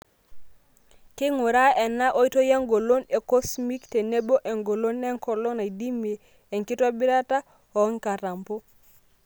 Keinguraa ena oitoi engolon e cosmic tenebo engolon enkolong naidimie enkitobirata oo nkatampo.